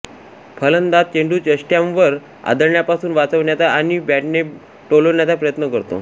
फलंदाज चेंडू यष्ट्यांवर आदळण्यापासून वाचवण्याचा आणि बॅटने टोलवण्याचा प्रयत्न करतो